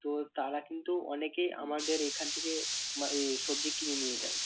তো তারা কিন্তু অনেকেই আমাদের এখান থেকে মা~ এ সবজি কিনে নিয়ে যায়।